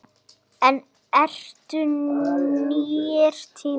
Nú eru nýir tímar.